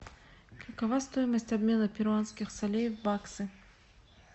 какова стоимость обмена перуанских солей в баксы